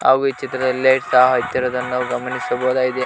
ಹಾಗು ಈ ಚಿತ್ರದಲ್ಲಿ ಲೈಟಾ ಹತ್ತಿರದನ್ನ ನಾವು ಗಮನಿಸಬಹುದಾಗಿದೆ.